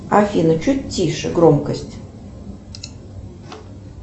афина чуть тише громкость